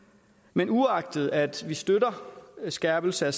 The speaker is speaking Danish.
men uagtet at vi støtter en skærpelse af